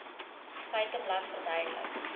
feiteblad verduidelik